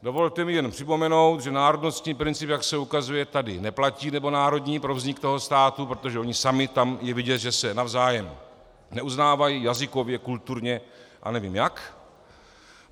Dovolte mi jen připomenout, že národnostní princip, jak se ukazuje, tady neplatí, nebo národní, pro vznik toho státu, protože oni sami, tam je vidět, že se navzájem neuznávají jazykově, kulturně a nevím jak.